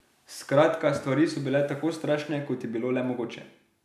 Skratka, stvari so bile tako strašne, kot je bilo le mogoče.